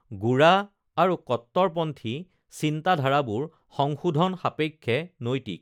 গোড়া আৰু কট্টৰপন্থী চিন্তাধাৰাবোৰ সংশোধন সাপেক্ষে নৈতিক